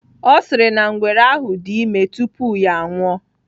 Ọ sịrị na ngwere ahụ dị ime tupu ya anwụọ.